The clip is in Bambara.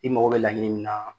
I mago bɛ laɲini min na